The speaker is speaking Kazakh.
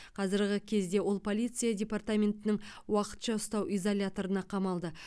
қазіргі кезде ол полиция департаментінің уақытша ұстау изоляторына қамалды